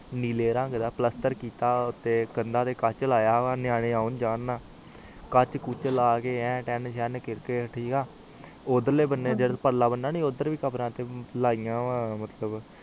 ਨੀਲੇ ਰੰਗ ਦਾ ਕੰਡਾ ਤੇ ਕੱਚ ਲਾਯਾ ਨਿਆਣੇ ਆਉਣ ਜਾਨ ਨਾ ਕੱਚ ਕੁਛ ਲੈ ਕੇ ਆਂ ਕੀਤਾ ਠੀਕ ਆ ਓਦਰ ਲੈ ਪਣੇ ਕਿਥੇ ਕਮਰਾ ਨੀ ਆ ਲਾਇਆ ਵਾ